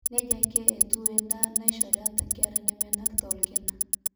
neija ake etiu endaa naishori ata inkera nemenakita orkina